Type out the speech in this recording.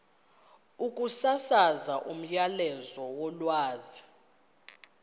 ukusasaza umyalezo wolwazi